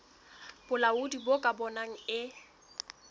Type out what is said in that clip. bolaodi bo ka bonang e